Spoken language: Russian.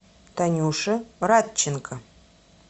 танюше радченко